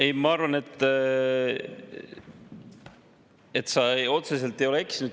Ei, ma arvan, et sa otseselt ei ole eksinud.